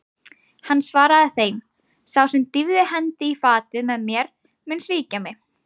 Hann svaraði þeim: Sá sem dýfði hendi í fatið með mér, mun svíkja mig.